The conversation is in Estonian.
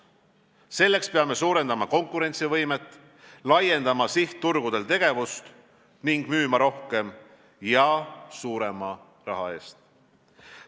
Selleks peame suurendama konkurentsivõimet, laiendama sihtturgudel tegevust ning müüma rohkem ja suurema raha eest.